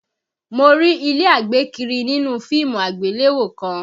Mo rí ilé àgbékiri nínú fíìmù àgbéléwò kan